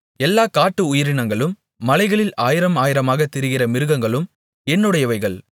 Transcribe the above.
எல்லா காட்டு உயிரினங்களும் மலைகளில் ஆயிரமாயிரமாகத் திரிகிற மிருகங்களும் என்னுடையவைகள்